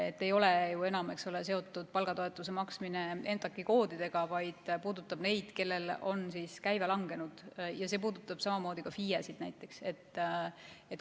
See ei ole enam seotud EMTAK-i koodidega, vaid puudutab neid, kelle käive on langenud, samamoodi ka FIE-sid.